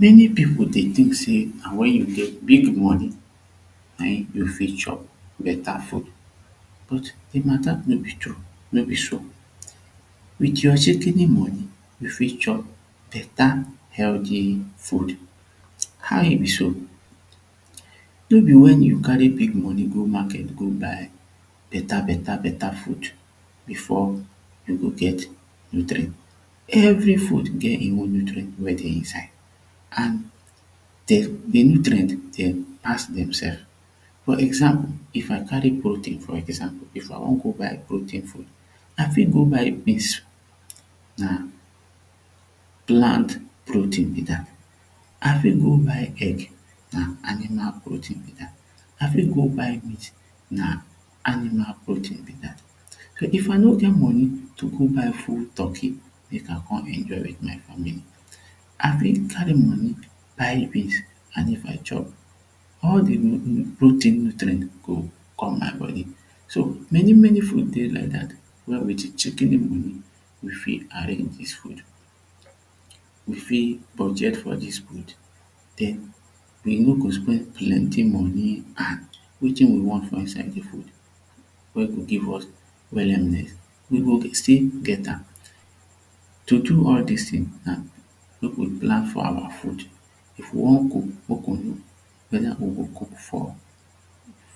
Many people dey tink say na wen you get big money na him you fit chop better food. But the mata no be true no be so wit your shikini money you fit chop beta healdi food how e be so no be wen you carry big money go market go buy beta beta beta food before you go get nutrients. Every food get nutrients wey dey inside an de ingredient dem has themselves for example if I carry protein for example if I wan go buy protein I fit go buy beans na plant protein be dat I fit go buy egg na animal protein be dat I fit go buy meat na animal protein be dat if I no get money to go buy full turkey mek I come enjoy wit my family I fit carry money buy beans and if I chop all the protein nutrients now go come my body so many many food dey like dat now wit chikini money you fit arrange dis food you fit budget for dis food den you no go spend plenty money an wetin we want for inside the food wey go give us wellness we go still get am to do all dis tins na mek we plan for our food if you wan cook mek we plan how we go cook for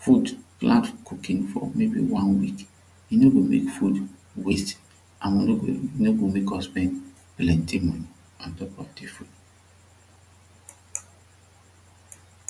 food plan cooking for maybe one week e no make food waste and e no go make us spend plenty money ontop of de food